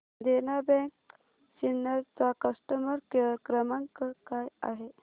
देना bank Sinnar चा customer care क्रमांक काय आहे